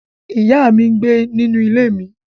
Iya mi ngbe ninu ile mi